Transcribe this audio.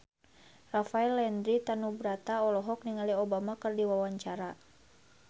Rafael Landry Tanubrata olohok ningali Obama keur diwawancara